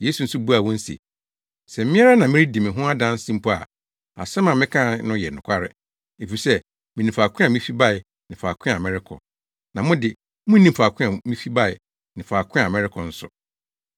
Yesu nso buaa wɔn se, “Sɛ me ara meredi me ho adanse mpo a, asɛm a meka no yɛ nokware, efisɛ minim faako a mifi bae ne faako a merekɔ. Na mo de, munnim faako a mifi bae ne faako a merekɔ nso.